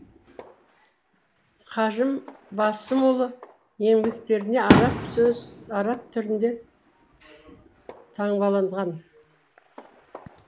қажым басымұлы еңбектерінде араб сөзі арап түрінде таңбаланған